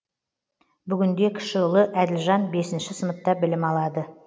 бүгінде кіші ұлы әділжан бесінші сыныпта білім алады